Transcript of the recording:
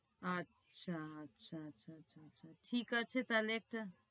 আচ্ছা আচ্ছা আচ্ছা, ঠিক আছে তাইলে একটা